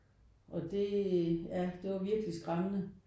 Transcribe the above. Og det ja det var virkelig skræmmende